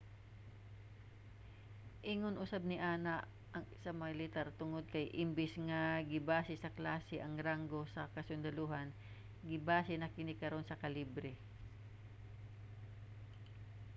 ingon usab niana ang sa militar tungod kay imbis nga gibase sa klase ang ranggo sa kasundalohan gibase na kini karon sa kalibre